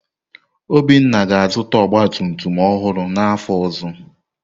Obinna ga-azụta ọgba tum tum ọhụrụ n’afọ ọzọ.